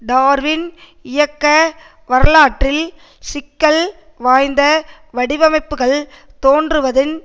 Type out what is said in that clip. Darwin இயற்கை வரலாற்றில் சிக்கல் வாய்ந்த வடிவமைப்புக்கள் தோன்றுவதின்